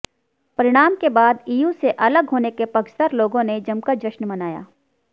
परिणाम के बाद ईयू से अलग होने के पक्षधर लोगों ने जमकर जश्न मनाया